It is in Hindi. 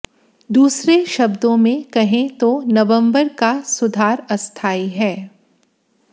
दूसरे शब्दों में कहें तो नवंबर का सुधार अस्थायी है